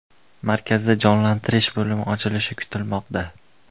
Markazda jonlantirish bo‘limi ochilishi kutilmoqda.